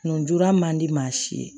Nn jora man di maa si ye